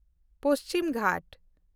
ᱯᱚᱪᱷᱤᱢ ᱜᱷᱟᱴ